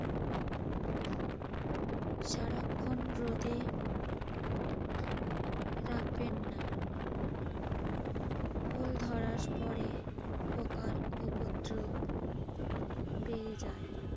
সারাক্ষন রোদে রাখবেন না। ফল ধরার পরে পোকার উপদ্রব বেড়ে যায়।